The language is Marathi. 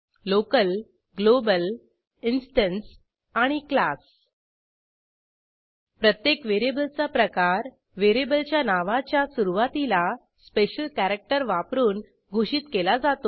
लोकल ग्लोबल इन्स्टन्स आणि क्लास प्रत्येक व्हेरिएबलचा प्रकार व्हेरिएबलच्या नावाच्या सुरूवातीला स्पेशल कॅरॅक्टर वापरून घोषित केला जातो